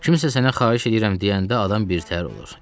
Kimsə sənə xahiş eləyirəm deyəndə, adam birtəhər olur.